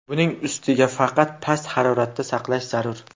Buning ustiga uni faqat past haroratda saqlash zarur.